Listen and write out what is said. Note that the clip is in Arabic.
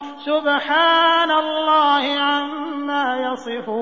سُبْحَانَ اللَّهِ عَمَّا يَصِفُونَ